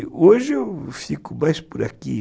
E hoje eu fico mais por aqui.